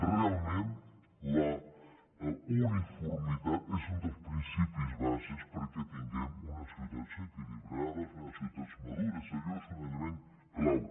realment la uniformitat és un dels principis bàsics perquè tinguem unes ciutats equilibrades unes ciutats madures allò és un element clau